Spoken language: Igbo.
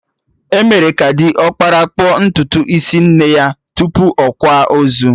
Emere ka diọkpara kpụọ ntutu isi nne ya tupu akwa ozu